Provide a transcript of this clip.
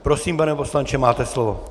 Prosím, pane poslanče, máte slovo.